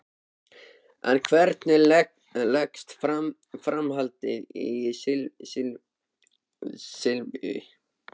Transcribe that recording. En hvernig leggst framhaldið í Silvíu?